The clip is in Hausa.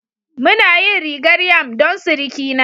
Muna yin rigar yam don surukina